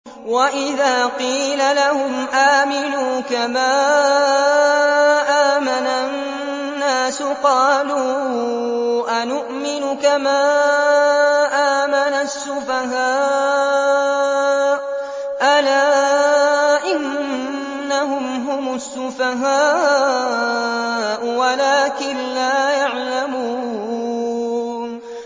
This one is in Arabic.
وَإِذَا قِيلَ لَهُمْ آمِنُوا كَمَا آمَنَ النَّاسُ قَالُوا أَنُؤْمِنُ كَمَا آمَنَ السُّفَهَاءُ ۗ أَلَا إِنَّهُمْ هُمُ السُّفَهَاءُ وَلَٰكِن لَّا يَعْلَمُونَ